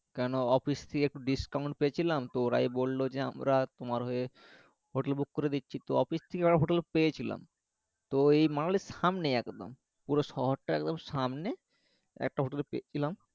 কেননা office থেকে একটু discount পেয়েছিলাম তো ওড়াই বললো যে আমরা তোমার হয়ে hotel, book করে দিচ্ছি তো office থেকে আমরা hotel পেয়েছিলাম তো এই মানালি এর সামনেই একদম পুরো শহরটা একদম সামনে একটা hotel পেয়েছিলাম